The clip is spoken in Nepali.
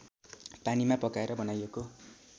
पानीमा पकाएर बनाइएको